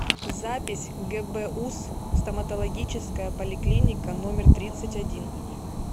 запись гбуз стоматологическая поликлиника номер тридцать один